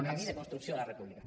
el camí de construcció de la república